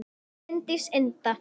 Bryndís Inda